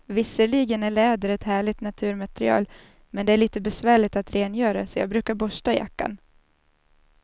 Visserligen är läder ett härligt naturmaterial, men det är lite besvärligt att rengöra, så jag brukar borsta jackan.